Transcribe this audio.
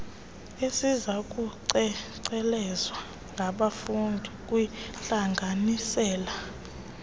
esizawucengcelezwa ngabafundi kwiintlanganisela